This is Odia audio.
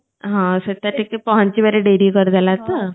ହଁ ସ୍ବେତା ଟିକିଏ ପହଞ୍ଚିବାରେ ଡେରି କରିଦେଲା ତ